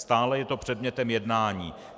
Stále je to předmětem jednání.